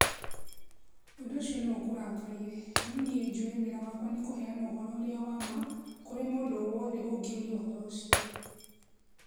Ũndũ ũcio no ũkũrakarie, no nĩe njũĩ wĩra wakwa nĩ kũheana ũhoro ũrĩa wa ma kũrĩ mũndũ o wothe ũngĩũria ũhoro ũcio.